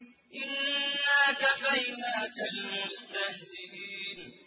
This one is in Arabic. إِنَّا كَفَيْنَاكَ الْمُسْتَهْزِئِينَ